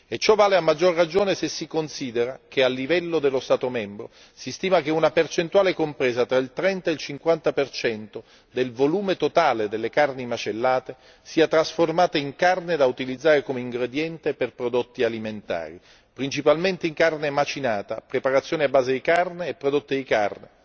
Ciò vale, a maggior ragione, se si considera che al livello dello Stato membro si stima che una percentuale compresa tra il 30 e il 50 del volume totale delle carni macellate sia trasformata in carne da utilizzare come ingrediente per prodotti alimentari, principalmente in carne macinata, preparazione a base di carne e prodotti di carne.